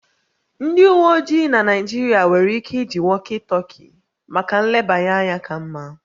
Ndị uwe ojii na Naịjirịa nwere ike iji walkie talkie maka nlebanya ka mma